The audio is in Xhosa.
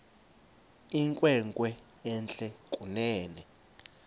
inkwenkwe entle kunene